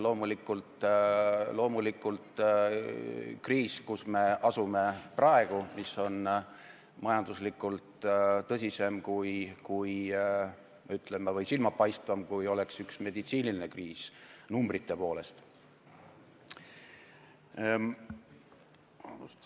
Loomulikult, kriis, kus me oleme praegu, on majanduslikult tõsisem või, ütleme, silmatorkavam, kui oleks üks meditsiinikriis, numbrite poolest.